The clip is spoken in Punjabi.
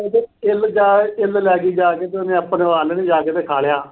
ਇੱਲ ਜਾ ਕੇ ਅਹ ਇੱਲ ਲੈ ਗਈ ਜਾ ਕੇ ਤੇ ਆਪਣੇ ਆਲਣੇ ਚ ਰੱਖਾ ਲਿਆ।